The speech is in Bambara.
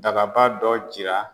Dababa dɔ jira